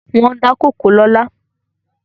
Wọ́n wa kòkó lọ́la